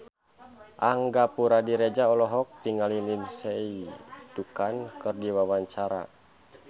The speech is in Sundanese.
Angga Puradiredja olohok ningali Lindsay Ducan keur diwawancara